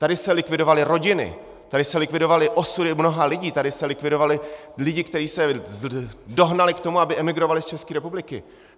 Tady se likvidovaly rodiny, tady se likvidovaly osudy mnoha lidí, tady se likvidovali lidi, kteří se dohnali k tomu, aby emigrovali z České republiky.